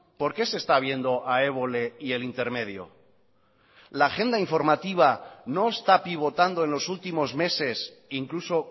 por qué se está viendo a évole y el intermedio la agenda informativa no está pivotando en los últimos meses incluso